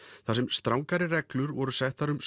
þar sem strangari reglur voru settar um